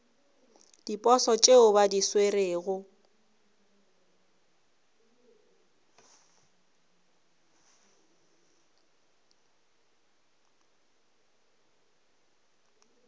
diposo tšeo ba di swerego